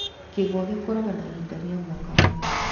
Kĩgwa gĩkũraga na ihinda rĩa mwaka ũmwe.